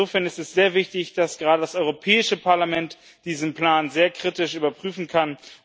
Insofern ist es sehr wichtig, dass gerade das Europäische Parlament diesen Plan sehr kritisch überprüfen kann.